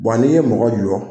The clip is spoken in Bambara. Bɔn n'i ye mɔgɔ jɔ